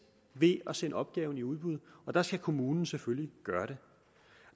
ved at sende opgaven i udbud og der skal kommunen selvfølgelig gøre